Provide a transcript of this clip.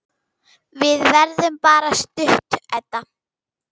Við verðum bara stutt, Edda.